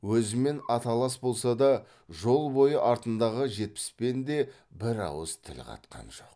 өзімен аталас болса да жол бойы артындағы жетпіспен де бір ауыз тіл қатқан жоқ